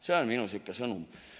See on minu sõnum.